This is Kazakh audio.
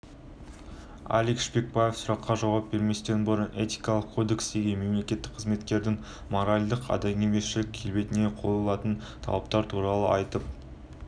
алик шпекбаев сұраққа жауап берместен бұрын этикалық кодекстегі мемлекеттік қызметкердің моральдық-адамгершілік келбетіне қойлатын талаптар туралы айтып